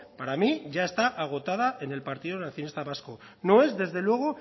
para mí ya está agotada en el partido nacionalista vasco no es desde luego